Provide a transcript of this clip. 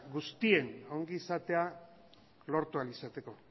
guztien ongizatea lortu ahal izateko